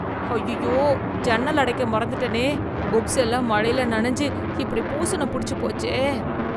ஐயையோ, ஜன்னல் அடைக்க மறந்துட்டனே, புக்ஸ் எல்லாம் மழையில நினைஞ்சு இப்படி பூஷணம் புடிச்சு போச்சே.